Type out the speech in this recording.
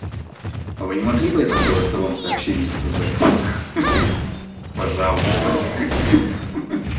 а вы не могли бы это в голосовом сообщении сказать ха-ха пожалуйста ха-ха